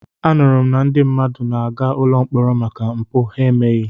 Anụrụ m na ndị mmadụ na-aga ụlọ mkpọrọ maka mpụ ha emeghị.